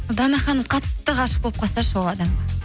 дана ханым қатты ғашық болып қалса ше ол адамға